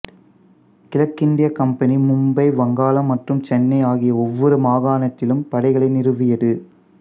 கிழக்கிந்திய கம்பெனி மும்பை வங்காளம் மற்றும் சென்னைஆகிய ஒவ்வொரு மாகாாணத்திலும் படைகளை நிறுவியது